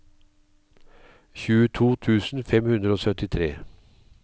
tjueto tusen fem hundre og syttitre